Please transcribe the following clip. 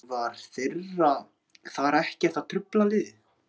En var vera þeirra þar ekkert að trufla liðið?